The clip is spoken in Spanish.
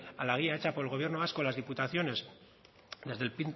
a la guía hecha por el gobierno vasco las diputaciones desde el